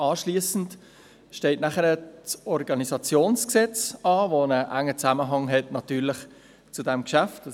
Anschliessend steht das Organisationsgesetz an, welches einen engen Zusammenhang mit diesem Geschäft aufweist;